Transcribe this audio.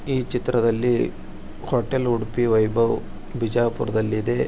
ಈ ಚಿತ್ರದಲ್ಲಿ ಹೋಟೆಲ್ ಉಡುಪಿ ವೈಭವ್ ಬಿಜಾಪುರದಲ್ಲಿ.